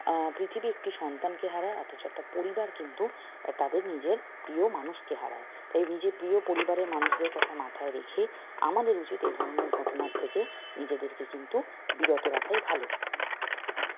আহ পৃথিবী একটি সন্তানকে হারায় অথচ একটি পরিবার কিন্তু এর তাদের নিজের প্রিয় মানুষকে হারায় তাই নিজের প্রিয় পরিবারের মানুষদের কথা মাথায় রেখে আমাদের উচিত এই ধরনের ঘটনা থেকে নিজেদেরকে কিন্তু বিরত রাখাই ভাল